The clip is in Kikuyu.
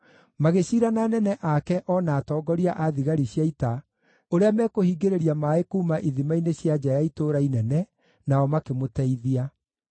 magĩciira na anene ake o na atongoria a thigari cia ita ũrĩa mekũhingĩrĩria maaĩ kuuma ithima-inĩ cia nja ya itũũra inene, nao makĩmũteithia.